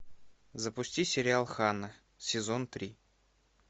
запусти сериал ханна сезон три